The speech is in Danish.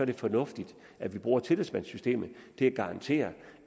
det fornuftigt at vi bruger tillidsmandssystemet til at garantere